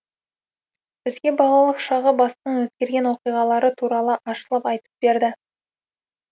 бізге балалық шағы басынан өткерген оқиғалары туралы ашылып айтып береді